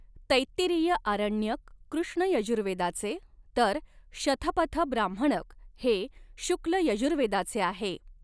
तैत्तिरीय आरण्यक कृष्ण यजुर्वेदाचे तर शथपथ ब्राह्मणक हे शुक्ल यजुर्वेदाचे आहे.